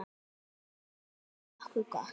Þetta er orðið nokkuð gott.